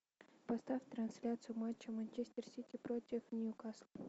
поставь трансляцию матча манчестер сити против ньюкасл